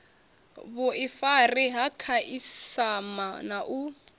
vhuifari ha khasiama na u